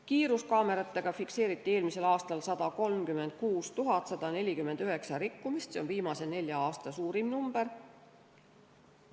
Kiiruskaameratega fikseeriti eelmisel aastal 136 149 rikkumist, see on viimase nelja aasta suurim arv.